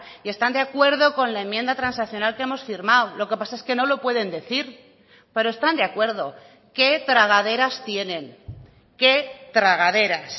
y están de acuerdo con la enmienda transaccional que hemos firmado lo que pasa es que no lo pueden decir pero están de acuerdo qué tragaderas tienen qué tragaderas